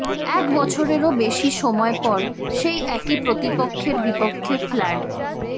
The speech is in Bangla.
এক বছরেরও বেশি সময় পর সেই একই প্রতিপক্ষের বিপক্ষে ফ্ল্যাড